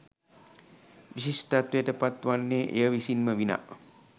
විශිෂ්ටත්වයට පත් වන්නේ එය විසින් ම විනා